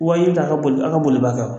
Wa i ja a ka boli, a ka boli ba ka